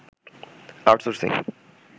outsourcing